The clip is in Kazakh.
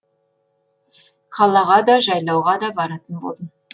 қалаға да жайлауға да баратын болдым